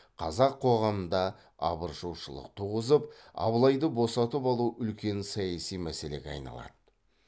қазақ қоғамында абыржушылық туғызып абылайды босатып алу үлкен саяси мәселеге айналады